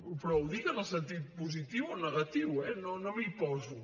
però ho dic en el sentit positiu o negatiu eh no m’hi poso